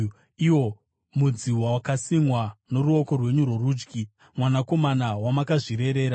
iwo mudzi wakasimwa noruoko rwenyu rworudyi, mwanakomana wamakazvirerera.